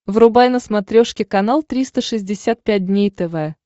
врубай на смотрешке канал триста шестьдесят пять дней тв